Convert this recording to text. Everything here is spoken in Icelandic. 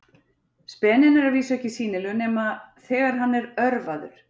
Speninn er að vísu ekki sýnilegur nema þegar hann er örvaður.